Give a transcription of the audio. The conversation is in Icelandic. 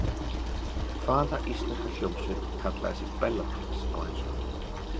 Hvaða íslenska hljómsveit kallaði sig Bellatrix á ensku?